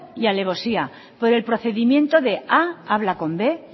y alevosía por el procedimiento de a habla con b